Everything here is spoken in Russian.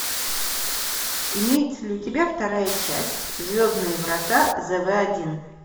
имеется ли у тебя вторая часть звездные врата зв один